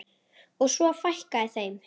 Og svo fækkaði þeim.